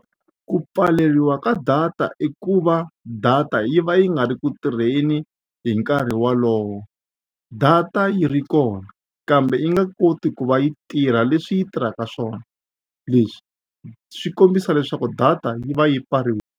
Ku pfaleriwa ka data i ku va data yi va yi nga ri ku tirheni hi nkarhi wolowo data yi ri kona kambe yi nga koti ku va yi tirha leswi yi tirhaka swona leswi swi kombisa leswaku data yi va yi .